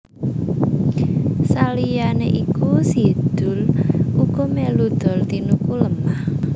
Saliyané iku Si Doel uga melu dol tinuku lemah